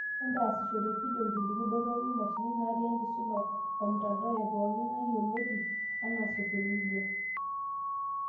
Entaasishore fidio, irkiliku dorropu, imashinini naati enkisuma womtandao epooki ng'ae yioloti anaa social media.